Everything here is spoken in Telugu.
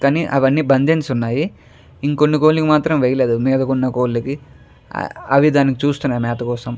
అవి అన్ని బందించి ఉన్నాయి ఇంకొన్ని కోడ్లు కు మాత్రం వేయలేదు మీదకున్న కోళ్ళకి అవి చూస్తున్నాయి మేత కోసం --